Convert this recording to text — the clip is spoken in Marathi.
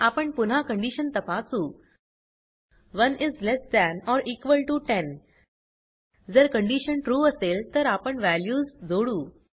आपण पुन्हा कंडीशन तपासू 1 is less than or equal to 10 जर कंडीशन ट्रू असेल तर आपण वॅल्यूज जोडू